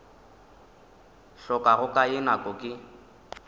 hlokago ka ye nako ke